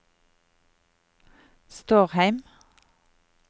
Stårheim